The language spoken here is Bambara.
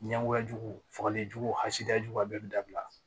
Ɲɛngoya jugu fagalen jugu hasidiyajuguba bɛɛ bɛ dabila